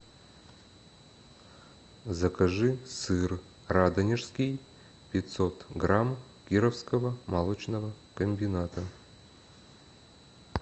закажи сыр радонежский пятьсот грамм кировского молочного комбината